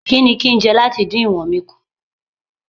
Kí ni kín ń jẹ láti dín ìwọ̀n mi kù?